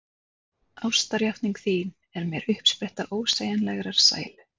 Ástarjátning þín er mér uppspretta ósegjanlegrar sælu.